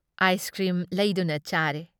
Ice cream ꯂꯩꯗꯨꯅ ꯆꯥꯔꯦ ꯫